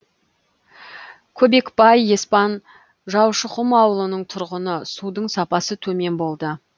көбекбай еспан жаушықұм ауылының тұрғыны судың сапасы төмен болды